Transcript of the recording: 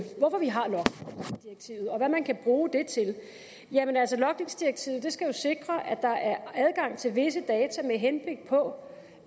hvad man kan bruge det til logningsdirektivet skal jo sikre at der er adgang til visse data med henblik på